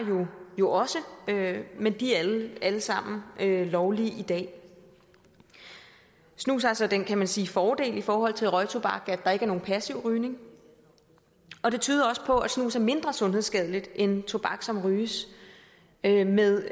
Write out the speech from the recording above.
jo også men de er alle sammen lovlige i dag snus har så den kan man sige fordel i forhold til røgtobak at der ikke er nogen passiv rygning og det tyder også på at snus er mindre sundhedsskadeligt end tobak som ryges med med